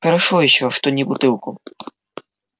хорошо ещё что не бутылку